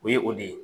O ye o de ye